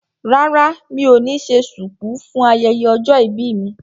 Rárá mi ò ní ṣe ṣùkú fún ayẹyẹ ọjọ́ ìbí mi